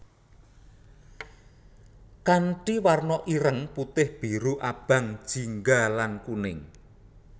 Kanthi warna ireng putih biru abang jingga lan kuning